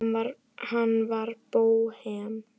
Hann var bóhem.